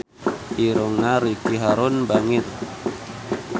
Irungna Ricky Harun bangir